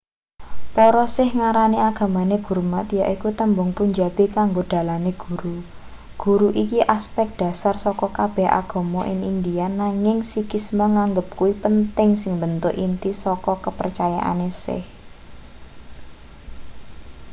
para sikh ngarani agamane gurmat yaiku tembung punjabi kanggo dalane guru guru iki asepek dhasar saka kabeh agama ing india nanging sikhisme nganggep kuwi penting sing mbentuk inti saka kepercayaane sikh